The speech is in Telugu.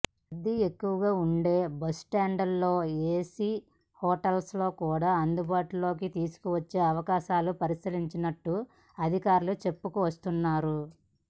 రద్దీ ఎక్కువగా ఉండే బస్టాండ్లలో ఏసీ హోటల్స్ కూడా అందుబాటులోకి తీసుకువచ్చే అవకాశాలు పరిశీలిస్తున్నట్టు అదికారులు చెప్పుకొస్తున్నారు